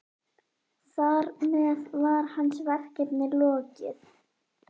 Þar með var hans verkefni lokið.